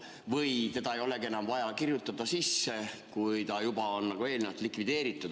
Või seda ei olegi enam vaja sisse kirjutada, kui ta on juba eelnevalt likvideeritud?